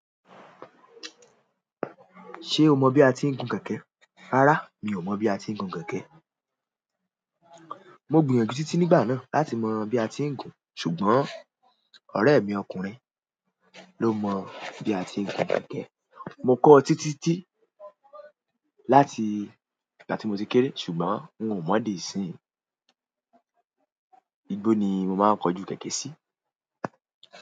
Ṣé o mọ bí a ti ń gun kẹ̀kẹ́? Rárá, mi ò mọ̀ bí a ti ń gun kẹ̀kẹ́. Mo gbìyànjú títí nígbà náà láti mọ bí a ti ń gun, ṣùgbọ́n ọ̀rẹ́ mi ọkùnrin ló mọ bí a ti ń gun kẹ̀kẹ́. Mo kọ́ ọ títí tí, láti ìgbà tí mo ti kéré, ṣùgbọ́n n ò mọ̀ di ìsínyìí. Íbo ni mo máa ń kojú kẹ̀kẹ́ sí.